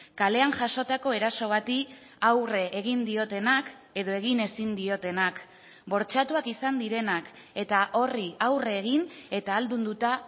kalean jasotako eraso bati aurre egin diotenak edo egin ezin diotenak bortxatuak izan direnak eta horri aurre egin eta ahaldunduta